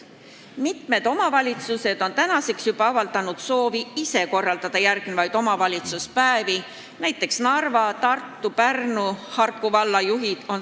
Mitmed omavalitsused on juba avaldanud soovi korraldada järgmisi omavalitsuspäevi, näiteks on seda teinud Narva, Tartu, Pärnu ja Harku valla juhid.